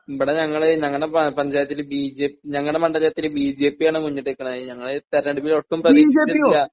ഇവിടെ ഞങ്ങൾ ഞങ്ങടെ പ പഞ്ചായത്തില് ബിജെ ഞങ്ങളുടെ മണ്ഡലത്തില് ബിജെപിയാണ് മുന്നിട്ടുനിൽക്കണെ ഞങ്ങളുടെ ഈ തെരഞ്ഞെടുപ്പിലൊട്ടും പ്രതീക്ഷിച്ചിട്ടില്ല.